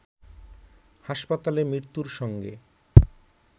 হাসপাতালে মৃত্যুর সঙ্গে